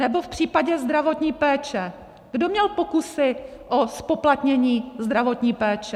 Nebo v případě zdravotní péče, kdo měl pokusy o zpoplatnění zdravotní péče?